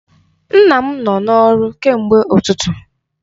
Nna m nọ n'ọrụ kemgbe ụtụtụ.